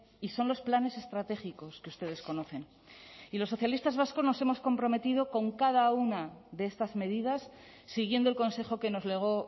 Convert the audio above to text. y son los planes estratégicos que ustedes conocen y los socialistas vascos nos hemos comprometido con cada una de estas medidas siguiendo el consejo que nos legó